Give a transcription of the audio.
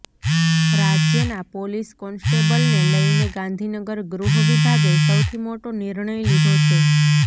રાજ્યના પોલીસ કોન્સ્ટેબલને લઇને ગાંધીનગર ગૃહવિભાગે સૌથી મોટો નિર્ણય લીધો છે